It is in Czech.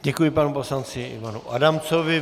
Děkuji panu poslanci Ivanu Adamcovi.